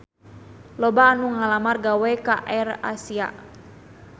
Loba anu ngalamar gawe ka AirAsia